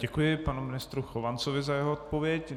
Děkuji panu ministru Chovancovi za jeho odpověď.